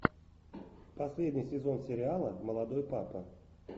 последний сезон сериала молодой папа